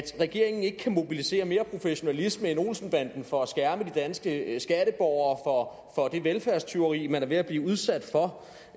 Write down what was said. regeringen ikke kan mobilisere mere professionalisme end olsen banden for at skærme de danske skatteborgere for det velfærdstyveri man er ved at blive udsat for